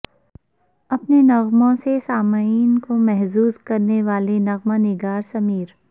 اپنے نغموں سے سامعین کو محظوظ کرنے والے نغمہ نگارسمیر